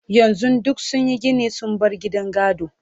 yanzun duk sunyi Gini sun bar gidan gado